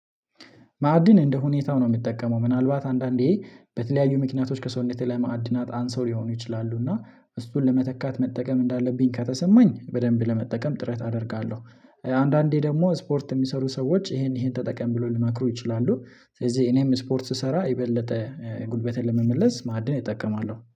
ማዕድን እንደሁኔታው ነው ምጠቀመው። ምናልባት አንዳንዴ በተለያዩ ምክንያቶች ከሰውነቴ ላይ ማዕድናት አንሰው ሊሆኑ ይችላሉ እና እሱን ለመተካት መጠቀም እንዳለብኝ ከተሰማኝ በደንብ ለመጠቀም ጥረት አደርጋለሁ። አንዳንዴ ደግሞ ስፖርት የሚሰሩ ሰዎች ይሄን ይሄን ተጠቀም ብሎ ሊመክሩ ይችላሉ። ስለዚህ እኔም ስፖርት ስሰራ የበለጠ ጉልበቴን ለመመለስ ማዕድን እጠቀማለሁ።